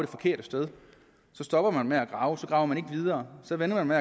forkerte sted så stopper man med at grave så graver man ikke videre så venter man